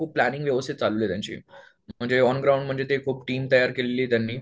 खुप प्लांनिंग चालूं आहे त्यांची म्हणजे ऑनग्राउंड खूप टीम तयार केलेली आहे त्यांनी.